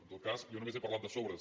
en tot cas jo només he parlat de sobres